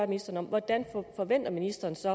ministeren hvordan forventer ministeren så